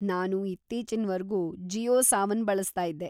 ನಾನು ಇತ್ತೀಚಿನ್‌ವರ್ಗೂ ಜಿಯೋ ಸಾವನ್‌ ಬಳಸ್ತಾಯಿದ್ದೆ.